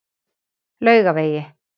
Laugavegi